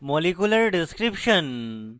molecular description এবং